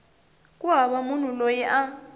ku hava munhu loyi a